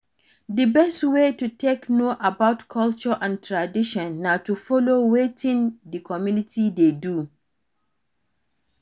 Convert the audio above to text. Di best wey to take know about culture and tradition na to follow for wetin di community dey do